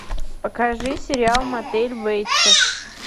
покажи сериал мотель бейтсов